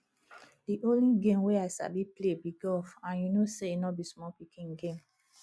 the only game wey i sabi play be golf and you know say e no be small pikin game